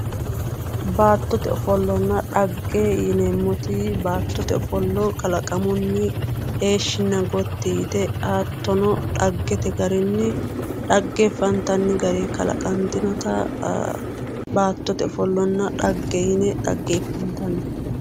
Baattote ofollonna dhagge yineemmoti baattote ofollo kalaqamuni heeshinna gotti yte hattono dhaggete garinni dhageefantanni garini kalaqantinotta baattote ofollonna dhagge yinne dhageefattanni.